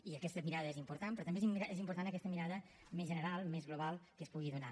i aquesta mirada és important però també és important aquesta mirada més general més global que es pugui donar